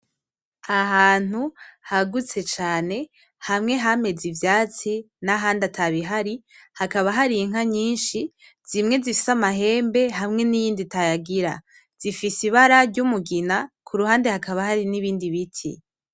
Ahantu hagutse cane, hamwe hameze ivyatsi n'ahandi atabihari, hakaba hari inka nyinshi, zimwe zifise amahembe hamwe n’iyindi itayagira, zifise ibara ry’umugina. Ku ruhande hakaba hari n’ibindi biti.